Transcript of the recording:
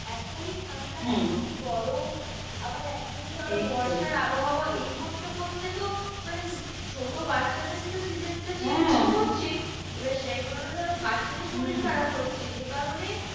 এখনই ঠান্ডা এখনই গরম আবার এখনই ধরো বর্ষার আবহাওয়া এই করতে করতে তো মানে ছোট বাচ্চাদের তো season টা change তো হচ্ছেই সেই এবার সেই কারণে ধরো বাচ্চাদের শরীর খারাপ হচ্ছে। যে কারণে